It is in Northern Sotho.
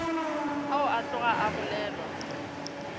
ao a tloga a bolelwa